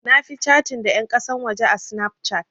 Na fi catin da ƴan ƙasan waje a Snapchat.